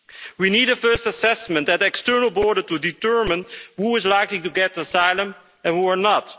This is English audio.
We need a first assessment at external borders to determine who is likely to get asylum and who is not.